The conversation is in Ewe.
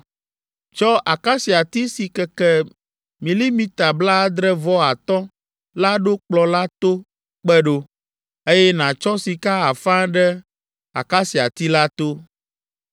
Tsɔ akasiati si keke milimita blaadre-vɔ-atɔ̃ la ɖo kplɔ̃ la to kpe ɖo, eye nàtsɔ sika afa ɖe akasiati la to.